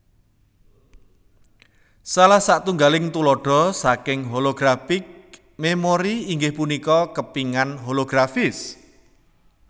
Salah satunggaling tuladha saking holographic memory inggih punika kepingan holografis